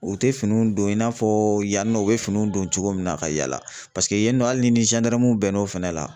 U tɛ finiw don i n'a fɔ yann'o u bɛ fini don cogo min na ka yaala paseke yen nɔ hali ni bɛn n'o fɛnɛ la.